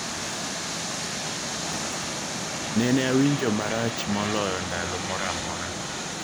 "Neneawinjo marach moloyo ndalo moramora